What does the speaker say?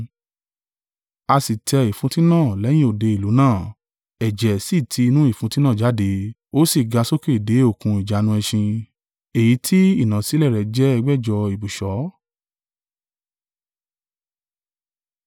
A sì tẹ ìfúntí náà lẹ́yìn òde ìlú náà, ẹ̀jẹ̀ sì ti inú ìfúntí náà jáde, ó sì ga sókè dé okùn ìjánu ẹṣin, èyí tí ìnàsílẹ̀ rẹ to ẹ̀gbẹjọ̀ (1,600) ibùsọ̀.